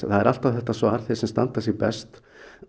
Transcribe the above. það er alltaf þetta svar þeir sem standa sig best